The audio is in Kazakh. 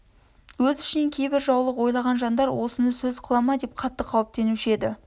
өз ішінен кейбір жаулық ойлаған жандар осыны сөз қыла ма деп қатты қауіптенуші еді